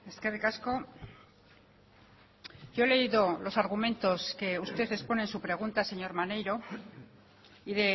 eskerrik asko yo he leído los argumentos que usted expone en su pregunta señor maneiro y